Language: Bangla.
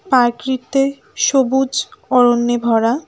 পারক্রিত্তে সবুজ অরণ্যে ভরা।